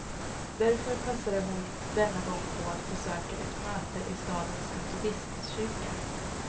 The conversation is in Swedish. Därför passade hon denna gång på att besöka ett möte i stadens metodistkyrka.